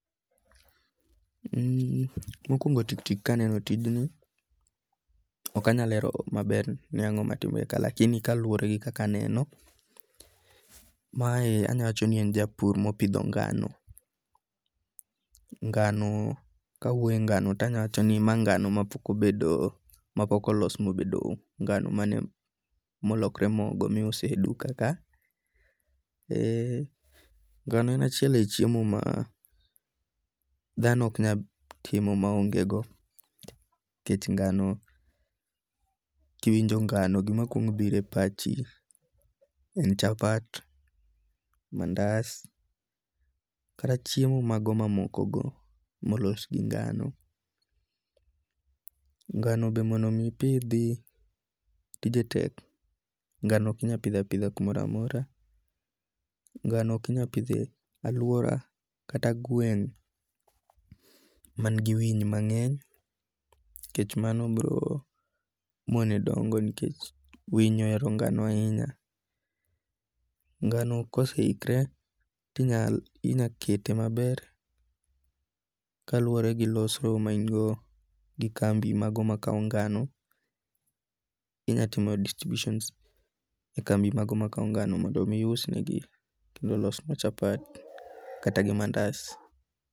En ni mokuongo' tik tik ka aneno tijnji, okanyal lero maber ni ango'ma timore ka, lakini kaluore gi kaka kaneno, mae anyalo wacho ni en japur mopitho ngano, ngano kawuoye ngano to anyalo wachoni ni ma ngano ma pok obedo mapok olos mobedo ngano mano molokre mogo miuse duka ka, ee ngano en achiel e chiemo ma thano oknyal timo ma ongego, nikech ngano, kiwinjo ngano to gimakwong biro e pachi en chapat, mandas kata chiemo mago mamokogo molosgi ngano ngano be mondo mipithi tije tek, ngano okinyal pitho apitha kumoro amora, ngano okinyal pithe e aluora kata gweng' manigi winy mange'ny nikech mano biro mone dongo' nikech winy ohero ngano ahinya, ngano koseikre tinyal inyal kete maber kaluore gi losro main godono gi kambi mago makawo ngano, inyalo timo distributions e kambi mago makawo ngano mondo mi iusnegi mondo olosgo chapati kata gi mandas.